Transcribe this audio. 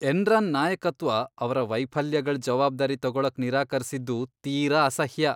Enron ನಾಯಕತ್ವ ಅವ್ರ ವೈಫಲ್ಯಗಳ್ ಜವಾಬ್ದಾರಿ ತಗೊಳಕ್ ನಿರಾಕರ್ಸಿದ್ದು ತೀರಾ ಅಸಹ್ಯ.